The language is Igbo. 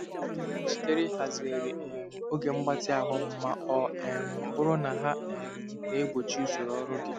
Adị m njikere ịhazigharị um oge mgbatị ahụ m ma ọ um bụrụ na ha um na-egbochi usoro ọrụ gị.